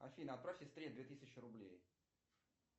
афина отправь сестре две тысячи рублей